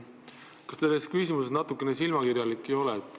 Kas te selles küsimuses natuke silmakirjalik ei ole?